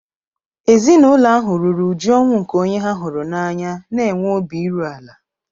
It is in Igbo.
Ezinụlọ ahụ ruru uju ọnwụ nke onye ha hụrụ n'anya na-enwe obi iru ala